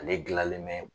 Ale gilanlen bɛ